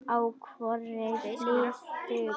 á hvorri hlið duga.